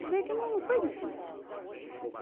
Quer dizer que não, não foi difícil.